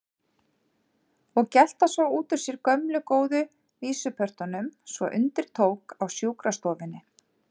Og gelta svo út úr sér gömlu góðu vísupörtunum svo undir tók á sjúkrastofunni.